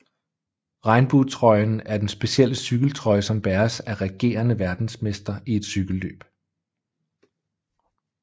Regnbuetrøjen er den specielle cykeltrøje som bæres af regerende verdensmester i et cykelløb